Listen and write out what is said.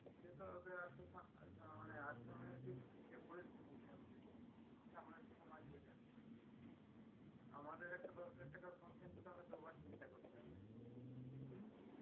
কিন্তু ওদের আহ মানে অর্থনৈতিক যে পরিস্থিতি সেটা আমাদের থেকে much better আমাদের একটা দশহাজার টাকার phone কিনতে তো আগে দুবার চিন্তা করতে হবে